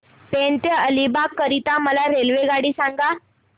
पेण ते अलिबाग करीता मला रेल्वेगाडी सांगा